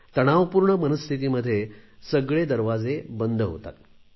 तणावपूर्ण मनस्थितीमध्ये सगळे दरवाजे बंद होतात